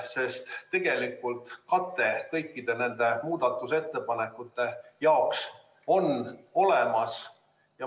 Sest tegelikult kate kõikide nende muudatusettepanekute jaoks on olemas.